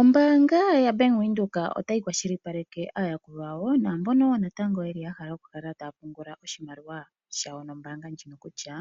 Ombaanga ya Bank Windhoek otayi kwashilipaleke aayakulwa yawo naambono wo natango yeli yahala oku kala taya pungula oshimaliwa shawo nombaanga ndjino kutya